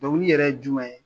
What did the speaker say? Dɔnkili yɛrɛ ye jumɛn ye